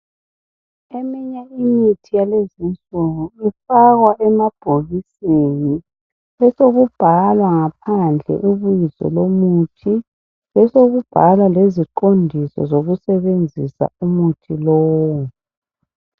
Eminye imithi yalezi insuku ifakwa emabhokisini besokubhalwa ngaphandle ibizo lomuthi, besokubhalwa leziqondiso zokusebenzisa umuthi lowu.